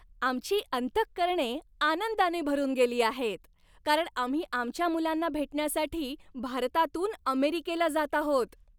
आमची अंतःकरणे आनंदाने भरून गेली आहेत, कारण आम्ही आमच्या मुलांना भेटण्यासाठी भारतातून अमेरिकेला जात आहोत.